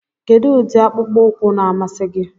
Kedu ụdị akpụkpọ ụkwụ na-amasị gị?